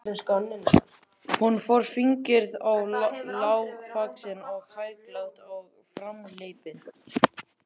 Hún var fíngerð og lágvaxin og hæglát og framhleypin.